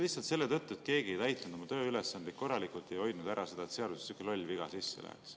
Lihtsalt selle tõttu, et keegi ei täitnud oma tööülesandeid korralikult, ei hoidnud ära seda, et seadusesse sihuke loll viga sisse läheks.